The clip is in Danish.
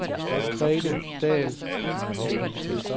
Grete Dahl